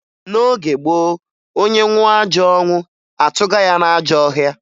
N'oge gboo, onye nwụọ ajọ ọnwụ, atụga ya n'ajọ ọhịa